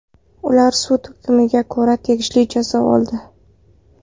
Ular sud hukmiga ko‘ra tegishli jazo oldi.